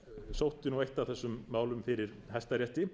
sótti nú eitt af þessum málum fyrir hæstarétti